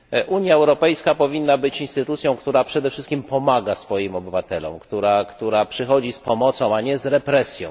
Unia Europejska powinna być instytucją, która przede wszystkim pomaga swoim obywatelom, która przychodzi z pomocą, a nie z represją.